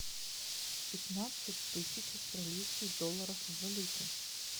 пятнадцать тысяч австралийских долларов в валюте